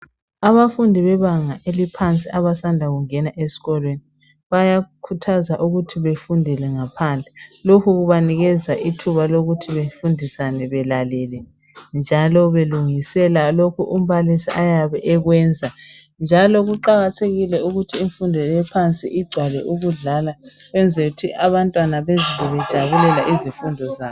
Abafundi bebanga eliphansi abasanda kungena es'kolweni bayakhuthazwa ukuthi befundele ngaphandle lokhu kubanikeza ithuba lokuthi befundisane belalele njalo belungisela lokho umbalisi ayabe ekwenza ,njalo kuqakathekile ukuthi imfundo ephansi igcwale ukudlala 'kwenzel'ukuthi abantwana bezizwe bejabulela izifundo zabo